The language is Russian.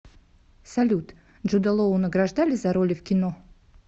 салют джуда лоу награждали за роли в кино